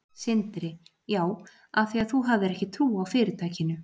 Sindri: Já, af því að þú hafðir ekki trú á fyrirtækinu?